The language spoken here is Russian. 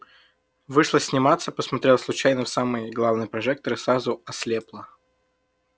вышла сниматься посмотрела случайно в самый главный прожектор и сразу ослепла